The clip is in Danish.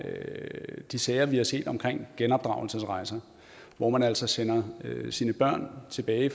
er de sager vi har set omkring genopdragelsesrejser hvor man altså sender sine børn tilbage